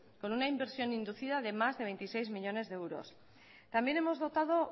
con una inversión inducida de más de veintiséis millónes de euros también hemos dotado